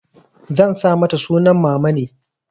Zan sa mata sunan mamane.